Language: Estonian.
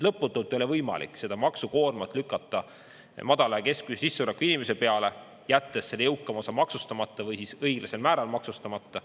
Lõputult ei ole võimalik seda maksukoormat lükata madala ja keskmise sissetulekuga inimese peale, jättes selle jõukama osa maksustamata või siis õiglasel määral maksustamata.